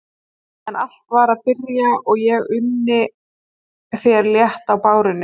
En allt var að byrja og ég unni þér létt á bárunni.